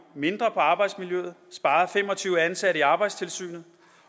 mindre på arbejdsmiljøet spare fem og tyve ansatte i arbejdstilsynet